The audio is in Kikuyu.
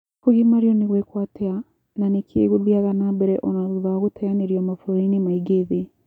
Kũgimario nĩ gũĩkuo atia na nĩkĩ gũthiaga nambere ona thutha wa gũteyanĩrio mabũrũrini maingĩ thĩ?